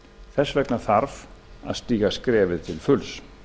þess vegna þarf að stíga skrefið til fulls